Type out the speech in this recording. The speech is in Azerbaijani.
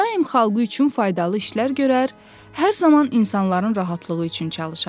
Daim xalqı üçün faydalı işlər görər, hər zaman insanların rahatlığı üçün çalışardı.